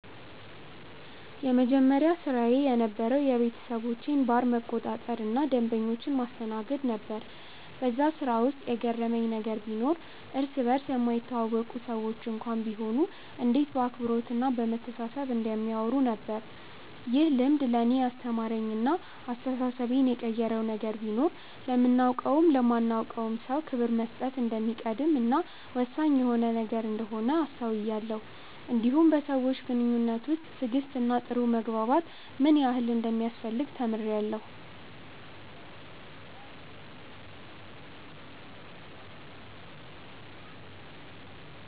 የመጀመሪያ ስራዬ የነበረዉ የቤተሰቦቼን ባር መቆጣጠር እና ደንበኞችን ማስተናገድ ነበር በዛ ስራ ውስጥ የገረመኝ ነገር ቢኖር እርስ በርስ የማይተዋወቁ ሰዎች እንኳን ቢሆኑ እንዴት በአክብሮት እና በመተሳሰብ እንደሚያወሩ ነበር። ይህ ልምድ ለእኔ ያስተማረኝ እና አስተሳሰቤን የቀየረው ነገር ቢኖር ለምናቀውም ለማናቀውም ሰው ክብር መስጠት እንደሚቀድም እና ወሳኝ የሆነ ነገር እንደሆነ አስተውያለው እንዲሁም በሰዎች ግንኙነት ውስጥ ትዕግስት እና ጥሩ መግባባት ምን ያህል እንደሚያስፈልግ ተምሬአለሁ።